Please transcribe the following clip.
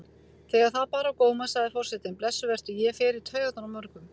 Þegar það bar á góma sagði forsetinn: Blessuð vertu, ég fer í taugarnar á mörgum.